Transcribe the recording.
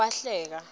wahleka